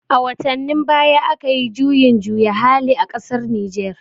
A watannin baya akayi juyin juya hali a ƙasar Nijer